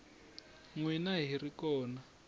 n wina hi ri kona